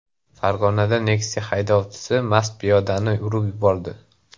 Farg‘onada Nexia haydovchisi mast piyodani urib yubordi.